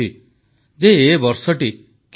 2020 ମସିହାରେ ମନ କି ବାତ ଏହାର ଅଧା ପଥ ଅତିକ୍ରମ କରିସାରିଛି